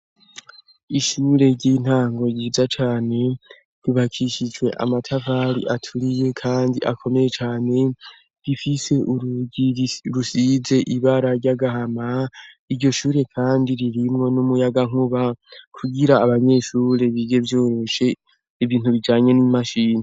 ishure ry'intango ryiza cane ryubakishijwe amatafari aturiye kandi akomeye cane bifise urugi rusize ibara ry'agahama iryo shure kandi ririmwo n'umuyaga nkuba kugira abanyeshure bige vyoroshe ibintu bijanye n'imashini